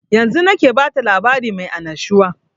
Yanzun nake bata labari mai annashuwa